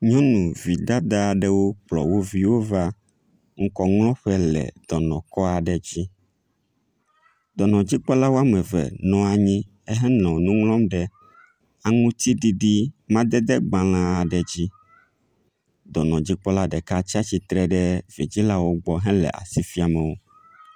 Nyɔnu vidada aɖewo kplɔ wo viwo va ŋkɔŋlɔƒe le dɔnɔ kɔ aɖe dzi. Dɔnɔdzikpɔla woame eve nɔ anyi henɔ nu ŋlɔm ɖe aŋutiɖiɖi madede gbalẽ aɖe dzi. Dɔnɔdzikpɔla ɖeka tsatsitre ɖe vidzilawo gbɔ hele asi fiam wo.